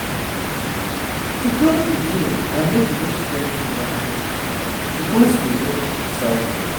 to plan pikin and make you no spend too much money you gats dey watch your cycle.